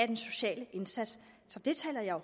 den sociale indsats så det taler jeg